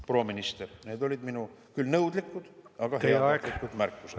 Proua minister, need olid minu küll nõudlikud, aga heatahtlikud märkused.